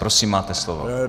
Prosím, máte slovo.